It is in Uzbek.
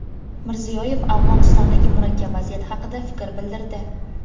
Mirziyoyev Afg‘onistondagi murakkab vaziyat haqida fikr bildirdi.